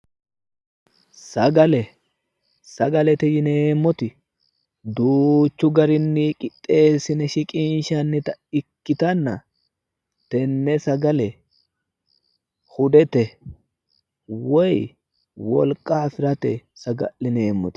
Sagale, sagalete yinneemmoti duuchu garinni qixxeesine shiqinshanitta ikkittanna tene sagale hudete woyi wolqa afirate saga'lineemmote